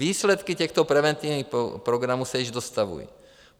Výsledky těchto preventivních programů se již dostavují.